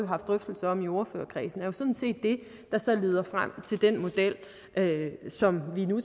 haft drøftelser om i ordførerkredsen er sådan set det der så leder frem til den model som vi nu